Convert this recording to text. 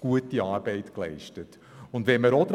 gute Arbeit geleistet wird.